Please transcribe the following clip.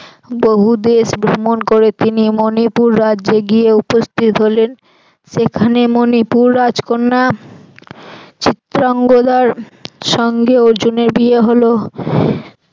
বহুদেশ ভ্রমন করে তিনি মণিপুর রাজ্যে গিয়ে উপস্থিত হলেন সেখানে মণিপুর রাজকন্যা চিত্রাঙ্গদার সঙ্গে অর্জুনের বিয়ে হল।